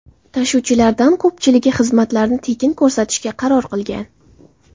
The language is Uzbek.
Tashuvchilardan ko‘pchiligi xizmatlarini tekin ko‘rsatishga qaror qilgan.